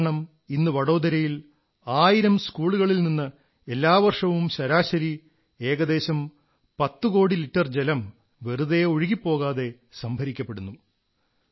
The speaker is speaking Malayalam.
ഇതുകാരണം ഇന്ന് വഡോദരയിൽ ആയിരം സ്കൂളുകളിൽനിന്ന് എല്ലാ വർഷവും ശരാശരി ഏകദശം 10 കോടി ലിറ്റർ ജലം വെറുതെ ഒഴുകി പോകാതെ സംഭരിക്കപ്പെടുന്നു